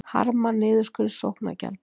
Harma niðurskurð sóknargjalda